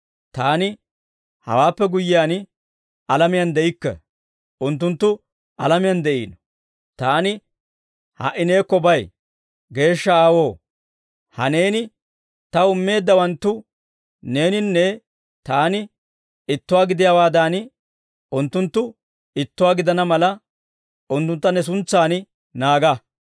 Taani hawaappe guyyiyaan, alamiyaan de'ikke; unttunttu alamiyaan de'iino; Taani ha"i neekko bay. Geeshsha Aawoo, ha Neeni Taw immeeddawanttu Neeninne Taani ittuwaa gidiyaawaadan, unttunttu ittuwaa gidana mala, unttuntta ne suntsan naaga.